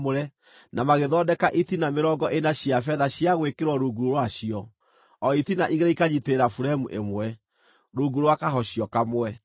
na magĩthondeka itina mĩrongo ĩna cia betha cia gwĩkĩrwo rungu rwacio; o itina igĩrĩ ikanyiitĩrĩra buremu ĩmwe, rungu rwa kahocio kamwe.